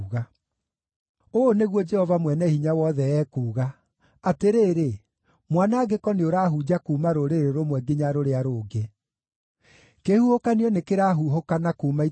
Ũũ nĩguo Jehova Mwene-Hinya-Wothe ekuuga: “Atĩrĩrĩ! Mwanangĩko nĩũrahunja kuuma rũrĩrĩ rũmwe nginya rũrĩa rũngĩ; kĩhuhũkanio nĩkĩrahuhũkana kuuma ituri-inĩ cia thĩ.”